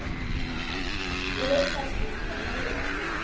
Ég hugsaði sem svo með mér